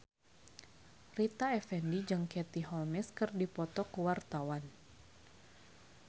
Rita Effendy jeung Katie Holmes keur dipoto ku wartawan